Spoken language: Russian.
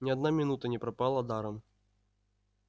ни одна минута не пропала даром